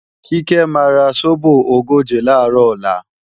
Kíkẹ́ máa ra sóbò ogóje làárọ̀ ọ̀la